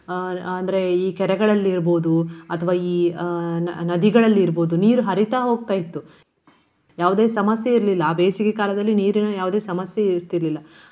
ಅಹ್ ಅಂದ್ರೆ ಈ ಕೆರೆಗಳಲ್ಲಿ ಇರ್ಬಹುದು ಅಥವಾ ಈ ಅಹ್ ನ~ ನದಿಗಳಲ್ಲಿ ಇರ್ಬಹುದು ನೀರು ಹರಿತಾ ಹೋಗ್ತಾ ಇತ್ತು. ಯಾವುದೇ ಸಮಸ್ಯೆ ಇರ್ಲಿಲ್ಲ. ಆ ಬೇಸಿಗೆ ಕಾಲದಲ್ಲಿ ನೀರಿನ ಯಾವುದೇ ಸಮಸ್ಯೆಯು ಇರ್ತಿಲಿಲ್ಲ.